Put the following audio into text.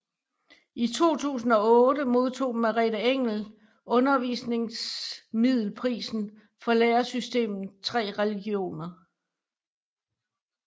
I 2008 modtog Merete Engel Undervisningsmiddelprisen for læresystemet Tre religioner